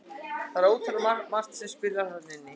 Það er ótal margt sem spilar þarna inn í.